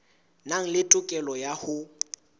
nang le tokelo ya ho